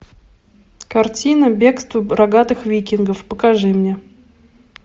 картина бегство рогатых викингов покажи мне